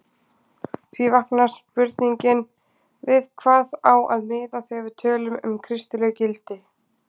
Því vaknar spurningin við hvað á að miða þegar við tölum um kristileg gildi?